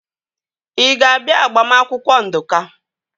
Ị ga-abịa agbamakwụkwọ Nduka?